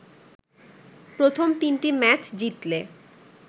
প্রথম তিনটি ম্যাচ জিতলে